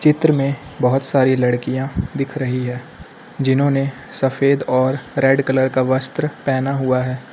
चित्र में बहोत सारी लड़कियां दिख रही है जिन्होंने सफेद और रेड कलर का वस्त्र पहना हुआ है।